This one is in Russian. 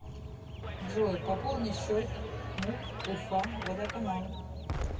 джой пополни счет муп уфа водоканал